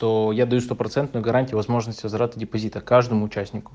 то я даю стопроцентную гарантию возможность возврата депозита каждому участнику